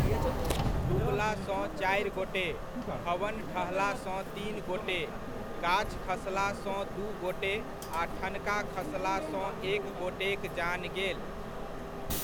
डुबलासँ चारि गोटे, भवन ढहलासँ तीन गोटे, गाछ खसलासँ दू गोटे आ ठनका खसलासँ एक गोटेक जान गेल।